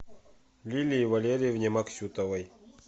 лилии валерьевне максютовой